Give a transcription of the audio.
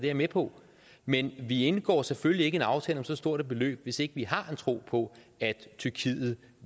jeg med på men vi indgår selvfølgelig ikke en aftale om så stort et beløb hvis ikke vi har en tro på at tyrkiet